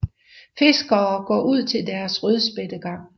Fiskere går ud til deres rødspættegang